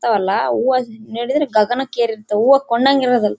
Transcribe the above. ತ್ತವಲ್ಲ ಹೂವ ನೋಡಿದ್ರೆ ಗಗನಕ್ಕೆ ಏರಿರ್ತವೆ ಹೂವ ಕೊಂದಹಂಗೆ ಇರೋದಿಲ್ಲ.